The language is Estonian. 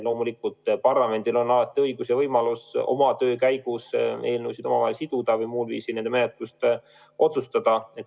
Loomulikult parlamendil on õigus ja võimalus töö käigus eelnõud omavahel siduda või muul viisil nende menetluse üle otsustada.